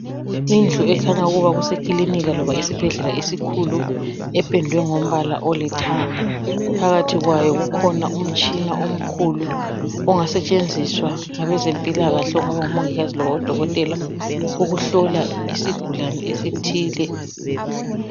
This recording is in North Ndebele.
indlu ekhanya ukuba kusekilinika loba esibhedlela esikhulu ependwe ngombala olithenga phakathi kwayo kukhona umtshina omkhulu ongasetshenziswa ngabezempilakahle ongaba ngu mongikazi loba udokotela ukuhlola isigulane esithile